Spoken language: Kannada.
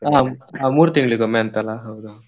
ಹಾಂ, ಹ ಮೂರು ತಿಂಗಳಿಗೊಮ್ಮೆ ಅಂತೆ